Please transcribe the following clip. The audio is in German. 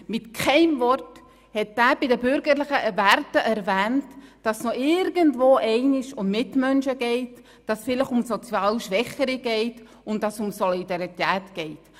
Er hat hinsichtlich der bürgerlichen Werte mit keinem Wort erwähnt, dass es noch irgendwo um Mitmenschen geht, dass es vielleicht um sozial Schwächere und um Solidarität geht.